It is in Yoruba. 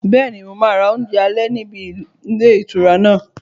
Bẹ́ẹ̀ni, mo máa ra oúnjẹ alẹ́ níbi ilé ìtura náà